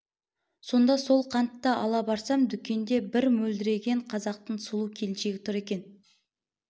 сонда сол қантты ала барсам дүкенде бір мөлдіреген қазақтың сұлу келіншегі тұр екен